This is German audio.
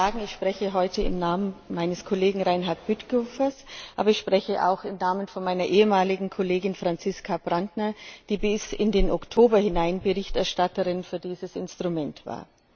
Wie Sie schon sagen, spreche ich heute im Namen meines Kollegen Reinhard Bütikofer, aber ich spreche auch im Namen von meiner ehemaligen Kollegin Franziska Brantner, die bis in den Oktober hinein Berichterstatterin für dieses Instrument war.